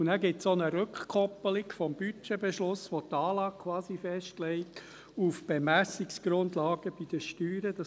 Dann gibt es auch eine Rückkoppelung des Budgetbeschlusses, der quasi die Anlage auf die Bemessungsgrundlagen bei den Steuern festlegt.